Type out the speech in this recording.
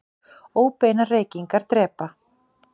Óbeinar reykingar drepa